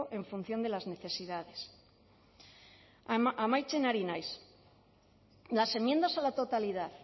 en función de las necesidades amaitzen ari naiz las enmiendas a la totalidad